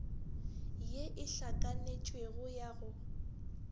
ye e hlakanetšwego ya go